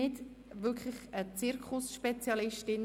Ich bin keine Zirkusspezialistin.